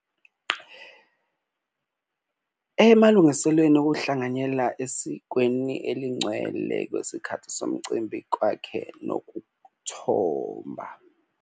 Emalungiselweni okuhlanganyela esikweni elingcwele kwesikhathi somcimbi kwakhe nokuthomba.